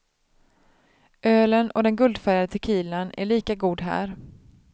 Ölen och den guldfärgade tequilan är lika god här.